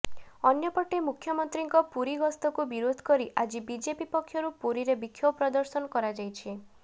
ଅନ୍ୟପଟେ ମୁଖ୍ୟମନ୍ତ୍ରୀଙ୍କ ପୁରୀ ଗସ୍ତକୁ ବିରୋଧକରି ଆଜି ବିଜେପି ପକ୍ଷରୁ ପୁରୀରେ ବିକ୍ଷୋଭ ପ୍ରଦର୍ଶନ କରାଯାଇଛି